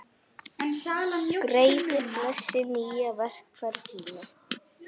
Greiði, blessi nýja vegferð þína.